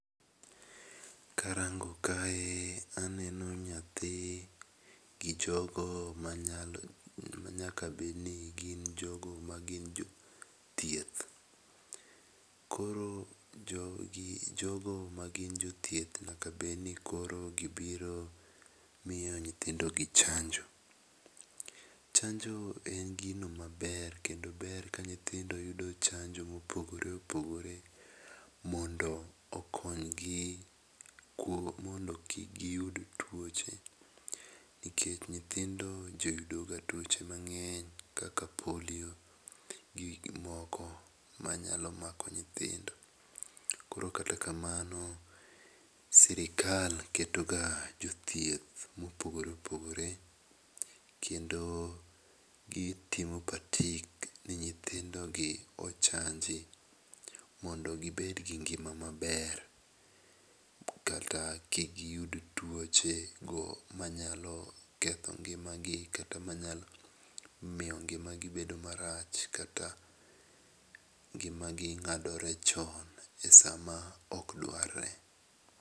Karango kae aneno nyathi gi jogo ma nyaka bed ni gin jogo ma gin jo thieth. Koro jogo ma gin jo thieth nyaka bed ni gi biro miyo nyithindo gi chanjo. Chanjo en gino ma ber kendo ber ka nyithindo yudo chanjo ma opogore opogore mondo okony gi mondo kik gi yud tuoche. Nikech nyithindo jo yudo ga tuoche mangeny kaka polio gi moko ma nyalo mako nyithindo. Koro kata kamano sirkal keto ga jothieth ma opogore opogore kendo gi timo patik ni nyithindo gi ochanji mondo gi bed gi ngima ma ber kata kik gi yud tuoche go ma nyalo ketho ngima gi, kendo ma nyalo miyo ngima gi bedo marach kaka ngima gi ng'adore chon e saa ma ok dwarre.